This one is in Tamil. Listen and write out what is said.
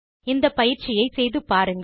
இந்த பயிற்சியை செய்து பாருங்கள்